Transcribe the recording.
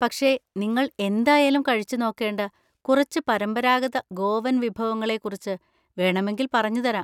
പക്ഷെ നിങ്ങൾ എന്തായാലും കഴിച്ചുനോക്കേണ്ട കുറച്ച് പരമ്പരാഗത ഗോവൻ വിഭവങ്ങളെ കുറിച്ച് വേണമെങ്കിൽ പറഞ്ഞുതരാം.